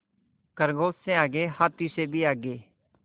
खरगोश से आगे हाथी से भी आगे